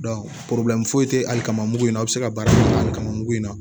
foyi tɛ ali kamugu in na a bɛ se ka baara kamugu in na